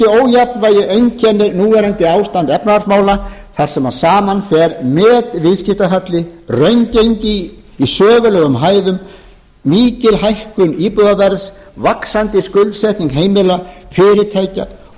ójafnvægi einkennir núverandi ástand efnahagsmála þar sem saman fer metviðskiptahalli raungengi í sögulegum hæðum mikil hækkun íbúðaverðs vaxandi skuldsetning heimila fyrirtækja